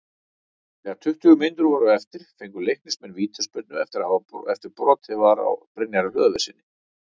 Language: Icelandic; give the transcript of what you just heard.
Þegar tuttugu mínútur voru eftir fengu Leiknismenn vítaspyrnu eftir að brotið var á Brynjari Hlöðverssyni.